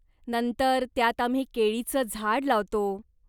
नंतर, त्यात आम्ही केळीचं झाड लावतो.